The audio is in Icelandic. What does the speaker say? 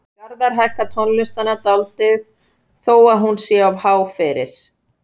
Garðar hækkar tónlistina dálítið þó að hún sé of há fyrir.